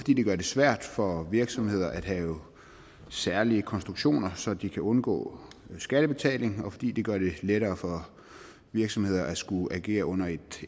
gør det svært for virksomheder at have særlige konstruktioner så de kan undgå skattebetaling og fordi det gør det lettere for virksomheder at skulle agere under et